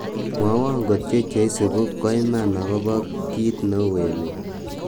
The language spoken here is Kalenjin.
mwowon kotyo cheisibu koiman agobo kiit neu emet